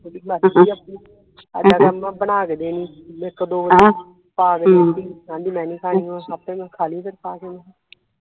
ਓਹਦੀ ਮਰਜੀ ਆ ਆਪਣੀ ਹਾਡਾ ਕੰਮ ਬਣਾ ਕੇ ਦੇਣੀ ਇਕ ਦੋ ਵਾਰੀ ਪਾ ਕੇ ਦਿਤੀ ਆਂਦੀ ਮੈ ਨਹੀਂ ਖਾਣੀ ਹੋਰ ਆਪੇ ਮੈ ਖਾਲੀ ਫਿਰ ਪਾ ਕੇ ਹਮ